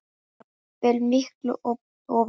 jafnvel miklu ofar.